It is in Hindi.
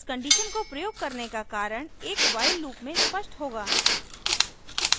इस condition को प्रयोग करने का कारण एक while लूप में स्पष्ट होगा